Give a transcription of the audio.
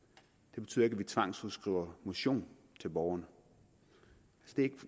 det betyder ikke at vi tvangsudskriver motion til borgerne